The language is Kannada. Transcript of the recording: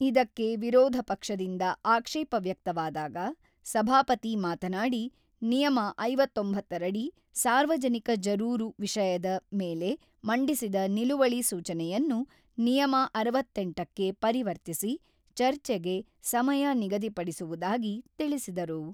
ಇದಕ್ಕೆ ವಿರೋಧ ಪಕ್ಷದಿಂದ ಆಕ್ಷೇಪ ವ್ಯಕ್ತವಾದಾಗ, ಸಭಾಪತಿ ಮಾತನಾಡಿ, ನಿಯಮ ಐವತ್ತೊಂಬತ್ತ ರಡಿ ಸಾರ್ವಜನಿಕ ಜರೂರು ವಿಷಯದ ಮೇಲೆ ಮಂಡಿಸಿದ ನಿಲುವಳಿ ಸೂಚನೆಯನ್ನು ನಿಯಮ ಅರವತ್ತೆಂಟ ಕ್ಕೆ ಪರಿವರ್ತಿಸಿ ಚರ್ಚೆಗೆ ಸಮಯ ನಿಗದಿಪಡಿಸುವುದಾಗಿ ತಿಳಿಸಿದರು.